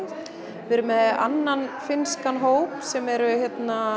við erum með annan finnskan hóp sem eru